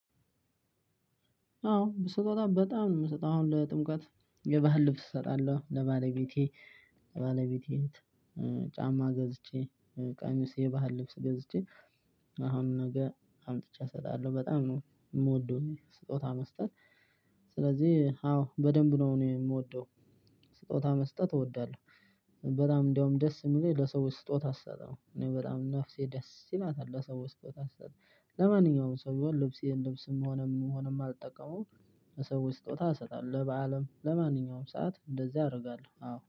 አዎ ስጦታ በጣም ነው የምሰጠው አሁን ለጥምቀት የባህል ልብስ እሰጣለሁ ለባለቤቴ። ለባለቤቴ እህት ጫማ ገዝቼ ቀሚስ የባህል ልብስ ገዝቼ አሁን ነገ አምጥቼ እሰጣለሁ በጣም ነው የምወደው ስጦታ መስጠት። ስለዚህ አዎ በደንብ ነው እኔ የምወደው ስጦታ መስጠት እወዳለሁ። በጣም እንደውም ደስ የሚለኝ ለሰዎች ስጦታ ስሰጥ ነው እኔ በጣም ነፍሴ ደስ ይላታል ለሰው ስጦታ ስሰጥ። ለማንኛውም ሰው ቢሆን ልብሴን ልብስም ሆነም ምንም ሆነ የማልጠቀመውን ለሰዎች ስጦታ እሰጣለሁ። ለበአልም ለማንኛውም ሰዓት እንደዚያ አደርጋለሁ አዎ